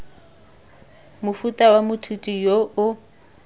mofuta wa moithuti yo o